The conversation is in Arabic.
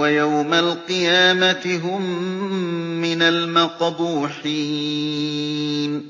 وَيَوْمَ الْقِيَامَةِ هُم مِّنَ الْمَقْبُوحِينَ